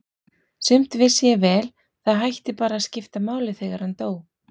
Sumt vissi ég vel, það hætti bara að skipta máli þegar hann dó.